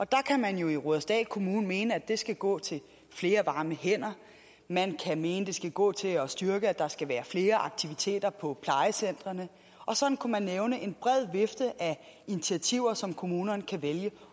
kan man jo i rudersdal kommune mene at det skal gå til flere varme hænder man kan mene at det skal gå til at styrke at der skal være flere aktiviteter på plejecentrene og sådan kunne man nævne en bred vifte af initiativer som kommunerne kan vælge